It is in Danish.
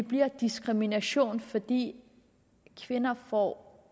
bliver diskrimination fordi kvinder får